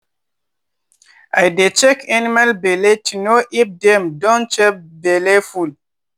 i dey check animal belle to know if dem don chop belleful.